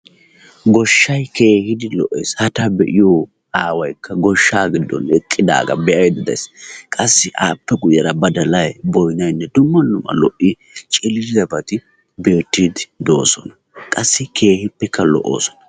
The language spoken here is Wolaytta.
Goshshay keehin lo'ees. Ha ta be'iyoo Aawaykka goshshaa giddon eqqidagaa be'aydda de'ayis. qassi appe guyyera badalay boynayinne dumma dumma lo"i ciliciliyaabati beetiidi de'oosona. qassi keehippekka lo"oosona.